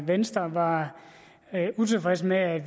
venstre var utilfreds med at